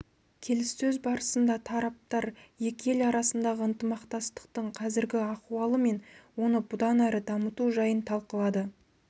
келіссөз барысында тараптар екі ел арасындағы ынтымақтастықтың қазіргі ахуалы мен оны бұдан әрі дамыту жайын талқылады